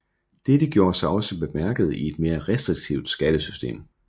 Dette gjorde sig også bemærket i et mere restriktivt skattesystem